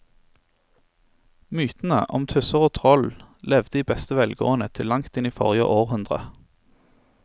Mytene om tusser og troll levde i beste velgående til langt inn i forrige århundre.